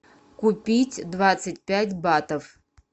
купить двадцать пять батов